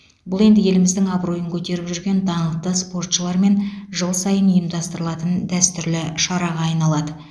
бұл енді еліміздің абыройын көтеріп жүрген даңқты спортшылармен жыл сайын ұйымдастырылатын дәстүрлі шараға айналады